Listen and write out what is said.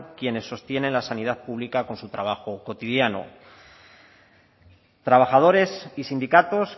quienes sostienen la sanidad pública con su trabajo cotidiano trabajadores y sindicatos